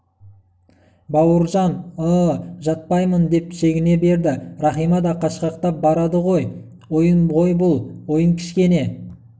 бауыржан ы-ы жатпаймын деп шегіне берді рахима да қашқақтап барады -ой ойын ғой бұл ойын кішкене